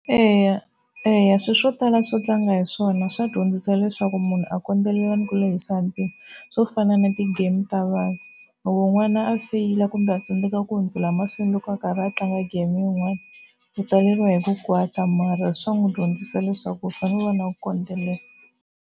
Eya, eya swilo swo tala swo tlanga hi swona swa dyondzisa leswaku munhu a kondzelela ni ku lehisa mpimo swo fana na ti-game ta vanhu. Loko n'wana a feyila kumbe a tsandzeka ku hundzela emahlweni loko a karhi a tlanga game yin'wana ku taleriwa hi ku kwata mara swa n'wi dyondzisa leswaku u fanele u va na ku kondelela.